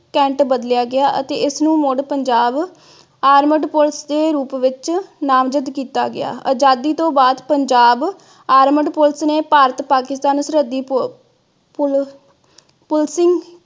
cant ਬਦਲਿਆ ਗਿਆ ਅਤੇ ਇਸ ਨੂੰ ਮੁੜ ਪੰਜਾਬ ਆਰਮਡ ਪੋpolice ਦੇ ਰੂਪ ਵਿਚ ਨਾਮਜ਼ਦ ਕੀਤਾ ਗਿਆ। ਆਜ਼ਾਦੀ ਤੋਂ ਬਾਅਦ ਪੰਜਾਬ ਆਰਮਡ police ਨੇ ਭਾਰਤ ਪਾਕਿਸਤਾਨ ਸਰਹੱਦੀ ਪੁਲਸਿੰਗ